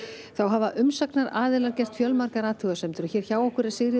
þá hafa umsagnaraðilar gert fjölmargar athugasemdir hér hjá okkur er Sigríður